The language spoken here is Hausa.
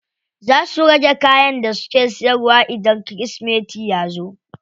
Za su rage kayan da suke siyarwa idan kirismeti yazo.